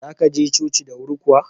Za ka je coci da wuri kuwa?